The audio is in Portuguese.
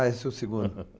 Ah, esse é o segundo.